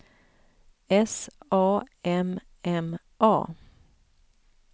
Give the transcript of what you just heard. S A M M A